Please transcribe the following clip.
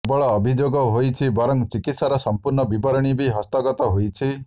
କେବଳ ଅଭିଯୋଗ ହୋଇଡ଼ି ବରଂ ଚିକିତ୍ସାର ସଂପୂର୍ଣ୍ଣ ବିବରଣୀ ବି ହସ୍ତଗତ ହୋଇଛି